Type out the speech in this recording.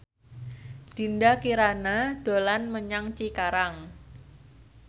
Dinda Kirana dolan menyang Cikarang